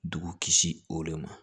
Dugu kisi o de ma